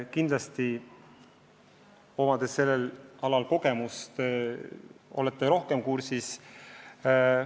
Teilgi on sellel alal kogemusi ja olete asjaga rohkem kursis.